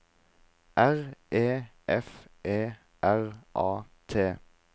R E F E R A T